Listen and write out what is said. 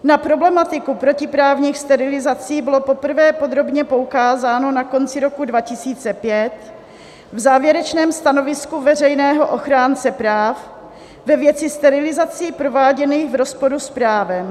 Na problematiku protiprávních sterilizací bylo poprvé podrobně poukázáno na konci roku 2005 v závěrečném stanovisku veřejného ochránce práv ve věci sterilizací prováděných v rozporu s právem.